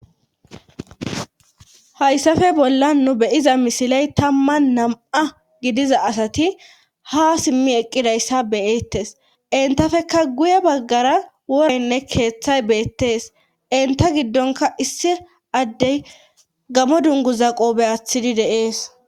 Hayssafe bolla nu beyiza misiley tamman nam'a gidiza asati ha simmi eqqidayssa beyettes intafeka guye baggara worenne keeththay beettees inta giddonka issi addey gamo dungu zaqoobe aththidi deees.